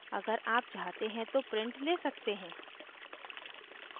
अगर आप चाहते हैं तो प्रिंट ले सकते हैं